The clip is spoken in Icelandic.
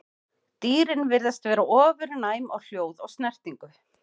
Dýrin virðast vera ofurnæm á hljóð og snertingu.